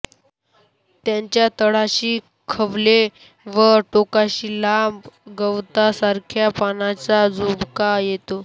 त्यांच्या तळाशी खवले व टोकाशी लांब गवतासारख्या पानांचा झुबका येतो